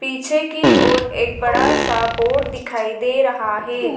पीछे की ओर एक बड़ा सा बोर्ड दिखाई दे रहा है।